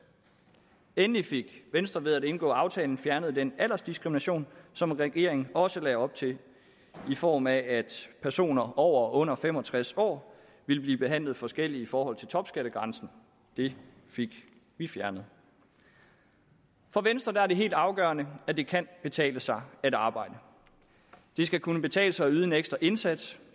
endelig fik venstre ved at indgå aftalen fjernet den aldersdiskrimination som regeringen også lagde op til i form af at personer over og under fem og tres år ville blive behandlet forskelligt i forhold til topskattegrænsen det fik vi fjernet for venstre er det helt afgørende at det kan betale sig at arbejde det skal kunne betale sig at yde en ekstra indsats